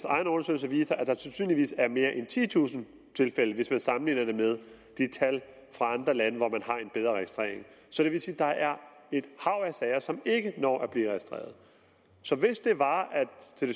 egen undersøgelse viser at der sandsynligvis er mere en titusind tilfælde hvis man sammenligner med tal fra andre lande hvor man har en bedre registrering så det vil sige at der er et hav af sager som ikke når at blive registreret så hvis det var